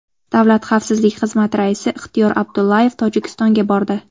Davlat xavfsizligi xizmati raisi Ixtiyor Abdullayev Tojikistonga bordi.